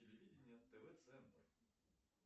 телевидение тв центр